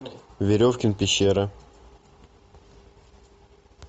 веревкин пещера